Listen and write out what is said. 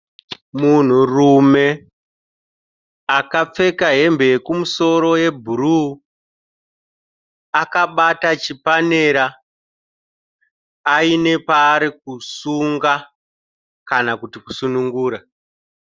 Munhurume akapfeka hembe yekumusoro yebhuruu akabata chipanera aine paari kusunga kana kuti kusunungura.